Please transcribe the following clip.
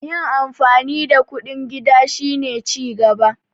yin amfani da kuɗin gida shi ne cigaba